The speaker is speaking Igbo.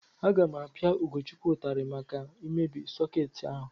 Aga m apia Ugochukwu ụtarị maka imebi sọkeetị ahu.